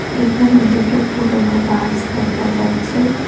এখানে দুটো পুরোনো বাস দেখা যাচ্ছে।